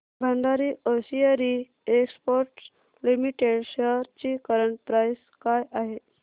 Bhandari hosiery exports limited shares ची current price काय आहे